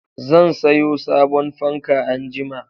Zan sayo sabon fanka anjima.